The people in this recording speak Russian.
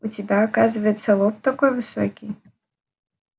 у тебя оказывается лоб такой высокий